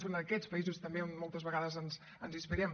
són aquests països també on moltes vegades ens inspirem